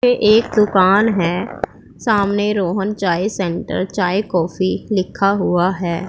ये एक दुकान है सामने रोहन चाय सेंटर चाय कॉफी लिखा हुआ है।